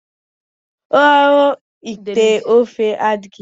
Ọrụ ite ofe adịghị mfe.